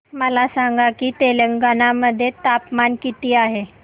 मला सांगा की तेलंगाणा मध्ये तापमान किती आहे